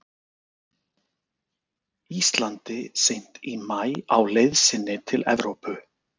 Íslandi seint í maí á leið sinni til Evrópu.